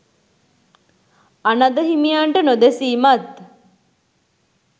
අනඳ හිමියන්ට නොදෙසීමත්